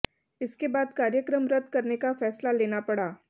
इसके बाद कार्यक्रम रद करने का फैसला लेना पड़ा